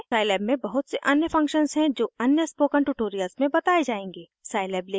Scilab में बहुत से अन्य फंक्शन्स हैं जो अन्य स्पोकन ट्यूटोरियल्स में बताये जायेंगे